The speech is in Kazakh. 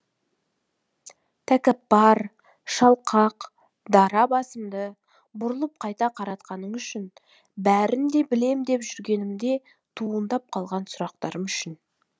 тәкаппар шалқақ дара басымды бұрылып қайта қаратқаның үшін бәрін де білем деп жүргенімде туындап қалған сұрақтарым үшін